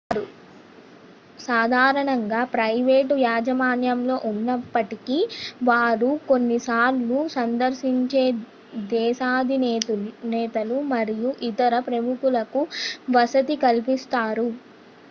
వారు సాధారణంగా ప్రైవేటు యాజమాన్యంలో ఉన్నప్పటికీ వారు కొన్నిసార్లు సందర్శించే దేశాధినేతలు మరియు ఇతర ప్రముఖులకు వసతి కలిపిస్తారు